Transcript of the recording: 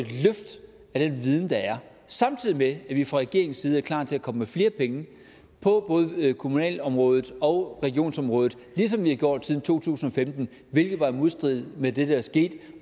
at af den viden der er samtidig med at vi fra regeringens side er klar til at komme med flere penge på både kommunalområdet og regionsområdet ligesom vi har gjort det siden to tusind og femten hvilket var i modstrid med det der skete